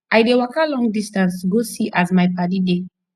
i dey waka long distance to go see as my paddy dey